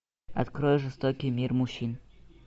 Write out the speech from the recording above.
открой жестокий мир мужчин